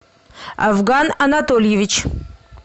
авган анатольевич